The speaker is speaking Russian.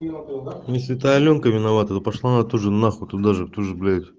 если это алёнка виновата то пошла она тоже нахуй туда же тоже блять